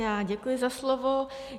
Já děkuji za slovo.